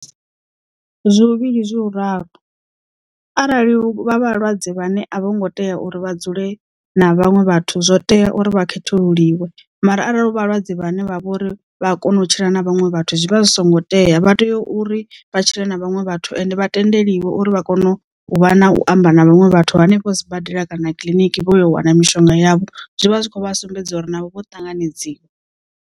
Zwi huvhili zwi huraru. Arali vha vhalwadze vhane a vho ngo tea uri vha dzule na vhaṅwe vhathu zwo tea uri vha khethululiwe mara arali hu vhalwadze vhane vha vha uri vha kona u tshila na vhaṅwe vhathu zwivha zwi songo tea vha tea uri vha tshile na vhaṅwe vhathu ende vha tendeliwa uri vha kone u vha na u amba na vhaṅwe vhathu hanefho sibadela kana kiḽiniki vho ya u wana mishonga yavho zwi vha zwi khou vha sumbedza uri navho vho ṱanganedziwa.